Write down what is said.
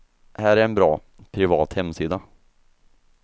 Här är en bra, privat hemsida.